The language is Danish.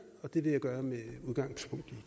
og det vil jeg gøre med udgangspunkt i